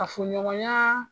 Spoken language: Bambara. Kafo ɲɔgɔnya !